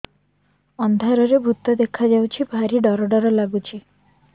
ଅନ୍ଧାରରେ ଭୂତ ଦେଖା ଯାଉଛି ଭାରି ଡର ଡର ଲଗୁଛି